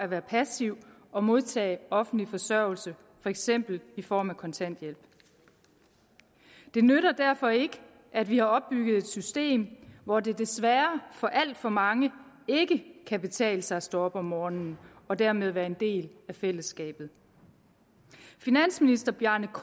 være passiv og modtage offentlig forsørgelse for eksempel i form af kontanthjælp det nytter derfor ikke at vi har opbygget et system hvor det desværre for alt for mange ikke kan betale sig at stå op om morgenen og dermed være en del af fællesskabet finansministeren